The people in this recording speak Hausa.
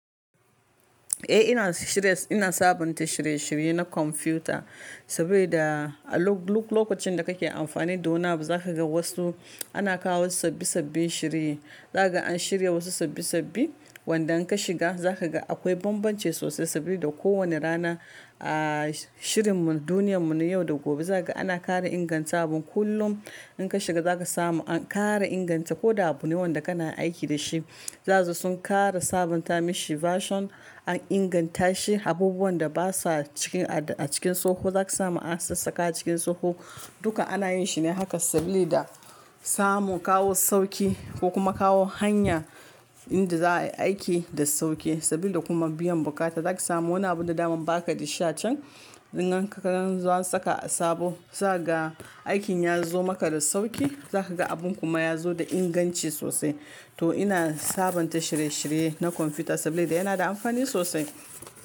Eh ina shirye, ina sabunta shirye shirye na kwamfuta saboda a lokacin da kake amfani da wani abu za ka ga wasu ana kawo sabbi sabbin shirye. Zaka an shirya wasu sabbi sabbi wanda in ka shiga za ka ga akwai bambanci sosai saboda ko wane rana a shirin mu duniyar mu na yau da gobe za ka ana ƙara inganta abun kullum. In ka shiga za ka samu an ƙara inganta ko da abu ne wanda kana aiki da shi. Zaka ga sun ƙara sabunta mishi version an inganta shi. Abubuwan da basa ciki a cikin tsoho za ka samu an sassaka a cikin tsoho. Duka ana yin shi ne haka saboda samu kawo sauƙi ko kuma kawo hanya inda za ayi aiki da sauƙi saboda kuma biyan bukata. Zaka samu wani abu da daman baka da sha chan in an zo an saka a sabo. Za ka ga aikin yazo maka da sauƙi za ka ga abun kuma yazo da inganci sosai. To ina sabunta shirye shirye na kwamfuta saboda yana da amfani sosai.